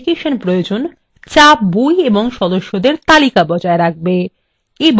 এবং যাতে সদস্যদেরকে দেওয়া বই সংক্রান্ত তথ্য থাকবে